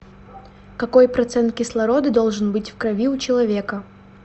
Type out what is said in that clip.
какой процент кислорода должен быть в крови у человека